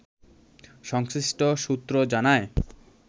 সংশ্লিষ্ট সূত্র জানায়